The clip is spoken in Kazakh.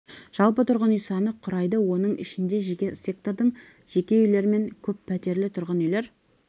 жалпы тұрғын үй саны құрайды оның ішінде жеке сектордың жеке үйлер мен көп пәтерлі тұрғын үйлер